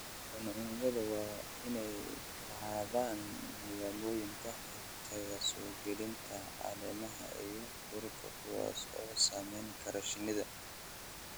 Cuncunyadu waa inay lahaadaan nidaamyo ka hortagaya soo gelida caleemaha iyo duurka kuwaas oo saameyn kara shinnida.